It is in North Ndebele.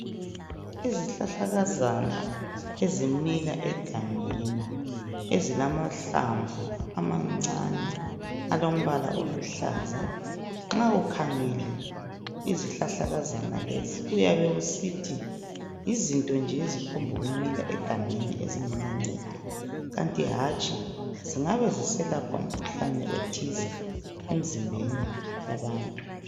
Izihlahlakazana ezimila egangeni ezilamahlamvu amancane alombala oluhlaza nxa ukhangele izihlahlakazana lezi uyabe usithi yizinto nje eziphongu mila egangeni ezingela ncedo kanti hatshi zingabe ziselapha umkhuhlane othize emzimbeni yabantu.